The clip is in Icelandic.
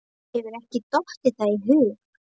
Mér hefur ekki dottið það í hug.